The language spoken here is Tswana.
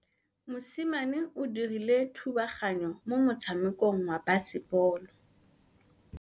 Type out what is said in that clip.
Mosimane o dirile thubaganyô mo motshamekong wa basebôlô.